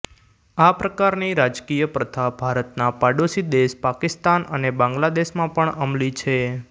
આ પ્રકારની રાજકીય પ્રથા ભારતના પાડોશી દેશ પાકિસ્તાન અને બાંગ્લાદેશમાં પણ અમલી છે